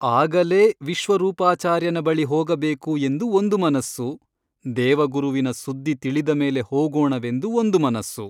ಆಗಲೇ ವಿಶ್ವರೂಪಾಚಾರ್ಯನ ಬಳಿ ಹೋಗಬೇಕು ಎಂದು ಒಂದು ಮನಸ್ಸು ದೇವಗುರುವಿನ ಸುದ್ದಿ ತಿಳಿದ ಮೇಲೆ ಹೋಗೋಣವೆಂದು ಒಂದು ಮನಸ್ಸು.